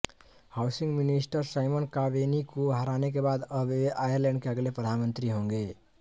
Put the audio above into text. housing minister Simon Coveney को हराने के बाद अब वे आयरलैंड के अगले प्रधानमंत्री होंगें